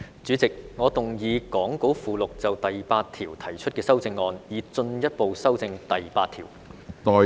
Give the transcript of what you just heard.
主席，我動議講稿附錄就第8條提出的修正案，以進一步修正第8條。